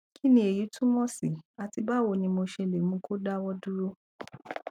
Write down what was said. kí ni èyí túmọ sí àti báwo ni mo ṣe lè mú kí ó dáwọ dúró